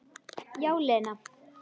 Já, Lena.